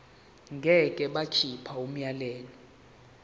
ngeke bakhipha umyalelo